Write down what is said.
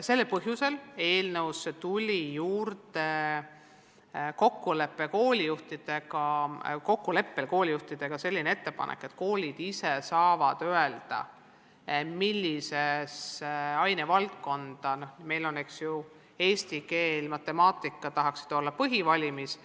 Sellel põhjusel tuli eelnõusse kokkuleppel koolijuhtidega juurde selline ettepanek, et koolid ise saavad öelda, millises ainevaldkonnas – meil on, eks ju, eesti keel ja matemaatika – nad tahaksid olla põhivalimis.